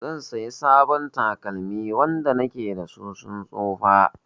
Zan sayi sabon takalmi, wanda na ke da su sun tsufa.